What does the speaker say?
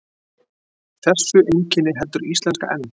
Þessu einkenni heldur íslenska enn.